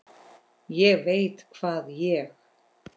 ÉG VEIT HVAÐ ÉG